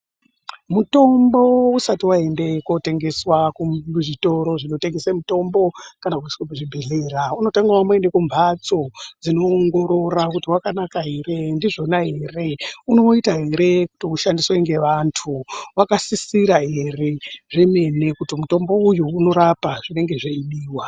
Mutombo usati waende kootengeswa kuzvitoro zvinotengese mitombo kana kuiswe kuzvibhedhlera, unotanga wamboende kumphatso dzinoongorora kuti wakanaka ere, ndizvona ere, unoita ere kuti ushandiswe ngevantu, wakasisira ere zvemene kuti mutombo uyu unorapa zvinenge zveidiwa.